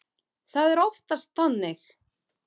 Það er oftast þannig.